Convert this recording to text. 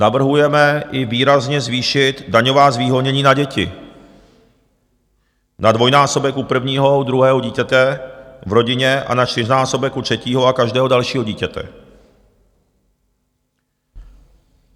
Navrhujeme i výrazně zvýšit daňová zvýhodnění na děti na dvojnásobek u prvního, u druhého dítěte v rodině a na čtyřnásobek u třetího a každého dalšího dítěte.